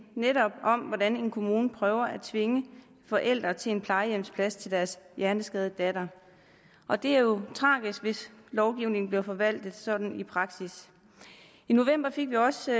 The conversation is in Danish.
netop om hvordan en kommune prøver at tvinge forældre til en plejehjemsplads til deres hjerneskadede datter og det er jo tragisk hvis lovgivningen bliver forvaltet sådan i praksis i november fik vi også